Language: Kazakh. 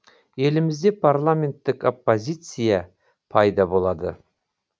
елімізде парламенттік оппозиция пайда болады